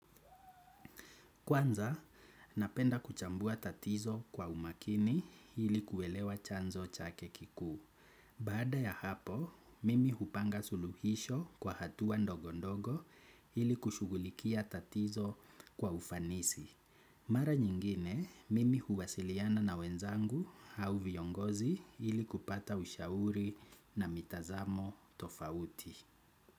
Kwanza, napenda kuchambua tatizo kwa umakini ili kuelewa chanzo chake kikuu. Baada ya hapo, mimi hupanga suluhisho kwa hatua ndogondogo hili kushugulikia tatizo kwa ufanisi. Mara nyingine, mimi huwasiliana na wenzangu au viongozi hili kupata ushauri na mitazamo tofauti.